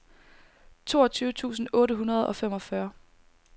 toogtyve tusind otte hundrede og femogfyrre